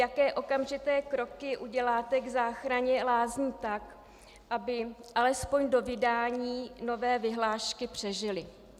Jaké okamžité kroky uděláte k záchraně lázní tak, aby alespoň do vydání nové vyhlášky přežily?